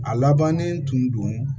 A labannen tun don